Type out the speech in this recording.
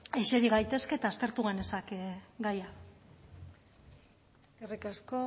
isilik gaitezke eta aztertu genezake gaia eskerrik asko